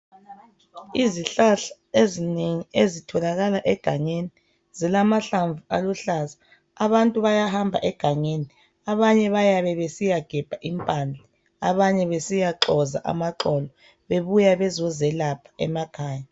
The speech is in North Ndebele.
Izihlahla ezinengi ezitholakala egangeni zilamahlamvu aluhlaza. Abantu bayahamba egangeni. Abanye bayabe besiyagebha impande. Abanye besiyaxoza amaxolo. Bebuya bezelapha emakhaya.